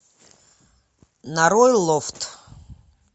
нарой лофт